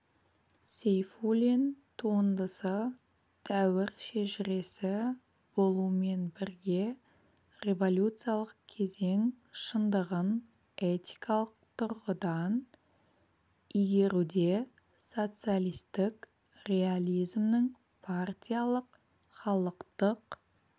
сейфуллин туындысы дәуір шежіресі болумен бірге революциялық кезең шындығын этикалық тұрғыдан игеруде социалистік реализмнің партиялық халықтық